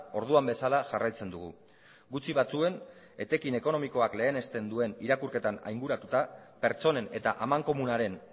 orduan bezala jarraitzen dugu gutxi batzuen etekin ekonomikoak lehenesten duen irakurketan ainguratuta pertsonen eta amankomunaren